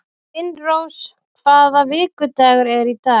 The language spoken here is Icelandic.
Finnrós, hvaða vikudagur er í dag?